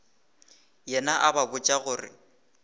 yena a ba botša gore